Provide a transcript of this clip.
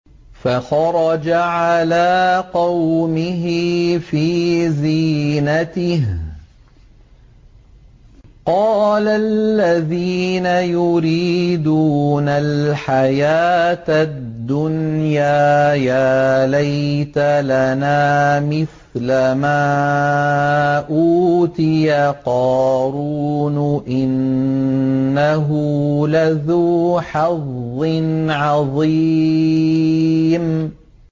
فَخَرَجَ عَلَىٰ قَوْمِهِ فِي زِينَتِهِ ۖ قَالَ الَّذِينَ يُرِيدُونَ الْحَيَاةَ الدُّنْيَا يَا لَيْتَ لَنَا مِثْلَ مَا أُوتِيَ قَارُونُ إِنَّهُ لَذُو حَظٍّ عَظِيمٍ